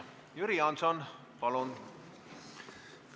Jüri Jaanson, palun!